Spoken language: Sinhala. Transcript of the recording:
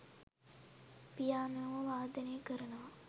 පියානෝව වාදනය කරනවා